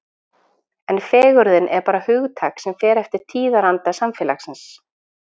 En fegurðin er bara hugtak sem fer eftir tíðaranda samfélagsins.